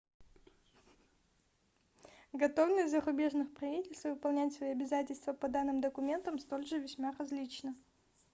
готовность зарубежных правительств выполнять свои обязательства по данным документам столь же весьма различна